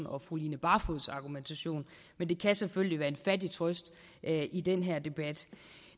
og fru line barfods argumentation men det kan selvfølgelig være en fattig trøst i den her debat